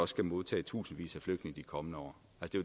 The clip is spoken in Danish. skal modtage tusindvis af flygtninge de kommende år